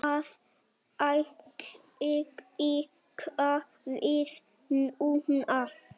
Það á líka við núna.